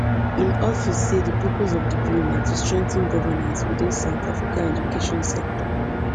im office say di purpose of di bill na to strengthen governance within south africa education sector